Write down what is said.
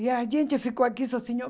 E a gente ficou aqui sozinhos.